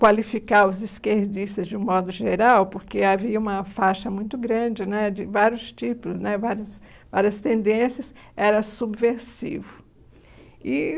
qualificar os esquerdistas de um modo geral, porque havia uma faixa muito grande né de vários tipos né vários várias tendências, era subversivo e